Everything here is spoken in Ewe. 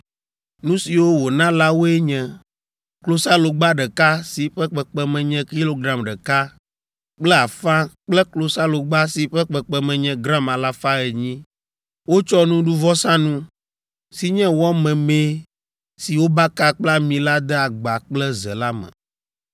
Nu siwo wòna la woe nye klosalogba ɖeka si ƒe kpekpeme nye kilogram ɖeka kple afã kple klosalogba si ƒe kpekpeme nye gram alafa enyi. Wotsɔ nuɖuvɔsanu, si nye wɔ memee si wobaka kple ami la de agba kple ze la me;